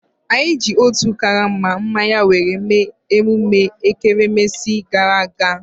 Anyi eji otu karama mmanya were mee emume ekeresimesi gara aga?